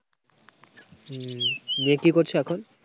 হম মেয়ে কি করছে এখন?